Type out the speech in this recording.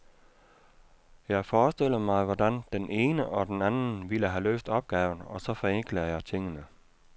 Jeg forestiller mig, hvordan den ene og den anden ville have løst opgaven, og så forenkler jeg tingene.